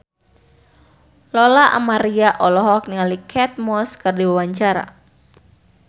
Lola Amaria olohok ningali Kate Moss keur diwawancara